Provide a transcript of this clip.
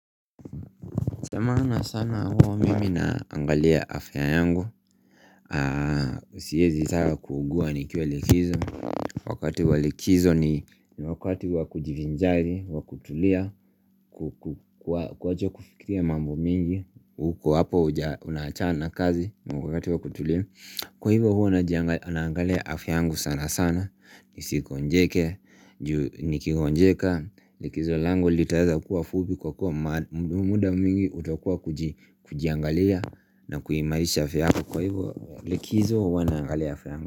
Ya maana sana huwa mimi naangalia afya yangu Siwezi taka kuugua nikiwa likizo Wakati wa likizo ni wakati wakujivinjari, wa kutulia, ku kuwacha kufikiria mambo mingi. Uko hapo unaachana kazi, wakati wa kutulia. Kwa hivyo huwa naangalia afya yangu sana sana Nisigonjeke, ju nikigonjeka, Likizo langu litaeza kuwa fupi Kwa kuwa muda mwingi utokuwa wa kujiangalia na kuimarisha afya yako kwa hivyo, Likizo huwa naangalia afya yangu.